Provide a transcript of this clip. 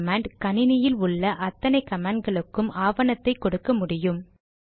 man command கணினியில் உள்ள அத்தனை கமாண்ட் களுக்கும் ஆவணத்தை கொடுக்க முடியும்